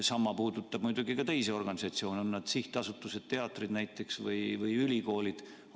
Sama puudutab muidugi ka teisi organisatsioone, on need siis sihtasutused, näiteks teatrid või ülikoolid, või muud.